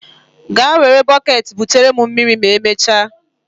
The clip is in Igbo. Gaa were bọket butere m mmiri ma emechaa.